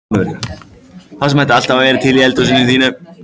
Það sem ætti alltaf að vera til í eldhúsinu þínu!